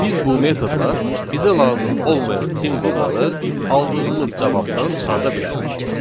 Biz bu metodla bizə lazım olmayan simvolları aldığımız cavabdan çıxarda bilərik.